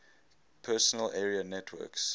personal area networks